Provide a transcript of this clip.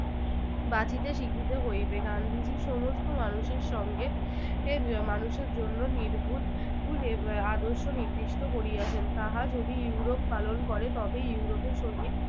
বাঁচিতে শিখিতে হইবে। গান্ধীজী সমস্ত মানুষের সঙ্গে এর মানুষের জন্য নির্ভুল আদর্শ নির্দিষ্ট করিয়াছেন তাহা যদি ইউরোপ পালন করে তবেই ইউরোপে সহিত